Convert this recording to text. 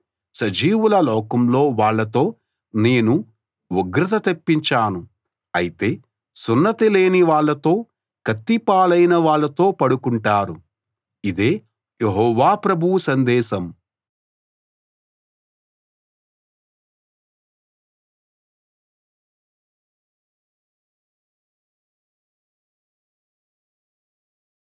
సజీవుల లోకంలో వాళ్ళతో నేను ఉగ్రత తెప్పించాను అయితే సున్నతి లేనివాళ్ళతో కత్తి పాలైనవాళ్ళతో పడుకుంటారు ఇదే యెహోవా ప్రభువు సందేశం